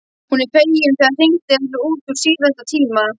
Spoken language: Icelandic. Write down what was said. Hún er fegin þegar hringt er út úr síðasta tíma.